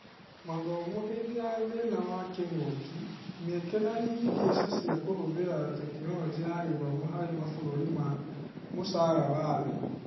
Mathomo hĩndĩ ya thĩna wa kĩng'ũki: Mĩeke na ihĩngica cia kũhũthĩra Tekinoronjĩ ya Githomo harĩ mabũrũri ma mũcara wa thĩ.